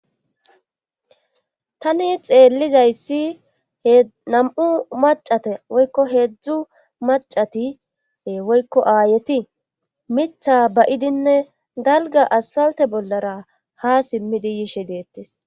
Tani xeellizayssi henam7u macate woykko heedzdzu macatie woykko aayeti mitha bayidinne dalga asfalte bollara ha simmidi yishe deettes